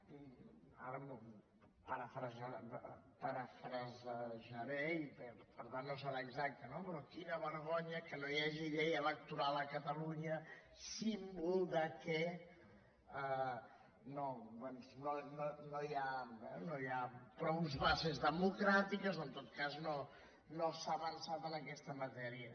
ara ho parafrasejaré i per tant no serà exacte no però quina vergonya que no hi hagi llei electoral a catalunya símbol que no hi ha prou bases democràtiques o en tot cas no s’ha avançat en aquesta matèria